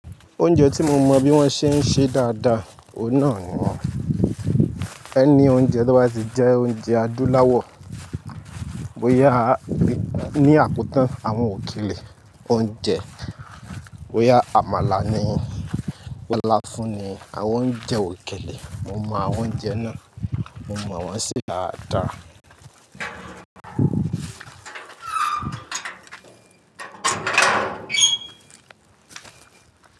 Oúnjẹ tí mo mọ bí wọ́n ṣe ń ṣe dáadáa, òun náà ni- any oúnjẹ tí ọ́ ba ti jẹ oúnjẹ adúláwọ̀. Bo yá, ní àkotan àwọn òkèlè oúnjẹ, bo yá, àmàlà ni, láfún ni àwọn oúnjẹ òkèlè. Mo mọ àwọn oúnjẹ náà, mo mọ wọ́n ṣe dáadáa.